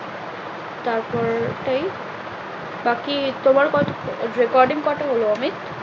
তার পর ওই, বাকি তোমার কত recording কটা হলো অমিত?